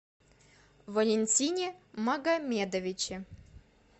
валентине магомедовиче